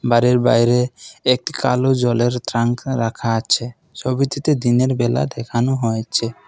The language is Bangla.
ঘরের বাইরে একটি কালো জলের ট্রাঙ্ক রাখা আছে ছবিটিতে দিনের বেলা দেখানো হয়েছে ।